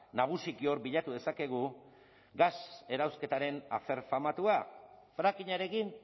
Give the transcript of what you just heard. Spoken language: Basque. nagusiki hor bilatu dezakegu gas erauzketaren afer famatua frackingarekin